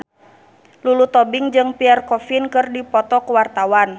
Lulu Tobing jeung Pierre Coffin keur dipoto ku wartawan